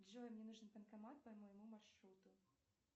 джой мне нужен банкомат по моему маршруту